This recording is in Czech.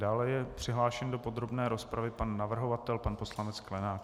Dále je přihlášen do podrobné rozpravy pan navrhovatel, pan poslanec Sklenák.